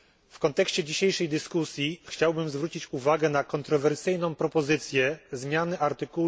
W kontekście dzisiejszej dyskusji chciałbym zwrócić uwagę na kontrowersyjną propozycję zmiany art.